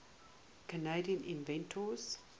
canadian inventors